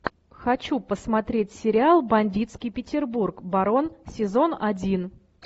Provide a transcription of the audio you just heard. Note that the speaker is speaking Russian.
хочу посмотреть сериал бандитский петербург барон сезон один